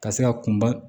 Ka se ka kunba